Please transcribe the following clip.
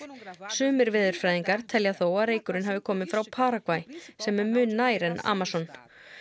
sumir veðurfræðingar telja þó að reykurinn hafi komið frá Paragvæ sem er mun nær en Amazon